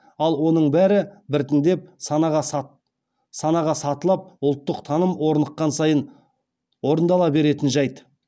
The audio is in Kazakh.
ал оның бәрі біртіндеп санаға сатылап ұлттық таным орныққан сайын орындала беретін жәйт